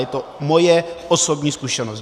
Je to moje osobní zkušenost.